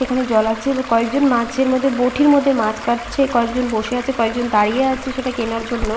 এখানে জল আছে কয়েকজন মাছের মধ্যে বটির মধ্যে মাছ কাটছে কয়েকজন বসে আছে কয়েকজন দাঁড়িয়ে আছে সেটা কেনার জন্য।